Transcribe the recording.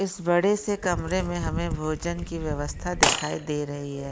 इस बड़े से कमरे मे हमे भोजन की व्यवस्था दिखाई दे रही है।